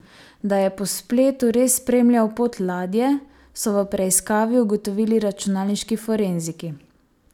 Da je po spletu res spremljal pot ladje, so v preiskavi ugotovili računalniški forenziki.